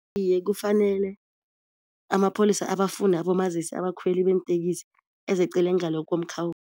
Iye kufanele amapholisa abafune abomazisi abakhweli beentekisi ezecele ngale